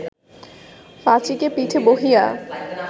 পাঁচীকে পিঠে বহিয়া